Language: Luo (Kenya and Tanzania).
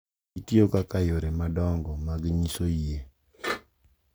Gitiyo kaka yore madongo mag nyiso yie, .